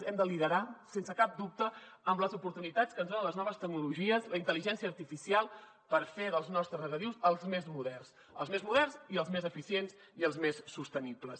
l’hem de liderar sense cap dubte amb les oportunitats que ens donen les noves tecnologies la intel·ligència artificial per fer dels nostres regadius els més moderns els més moderns i els més eficients i els més sostenibles